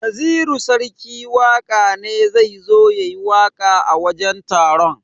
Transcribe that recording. Naziru sarki waka ne zai zo yayi waka a wajen taron.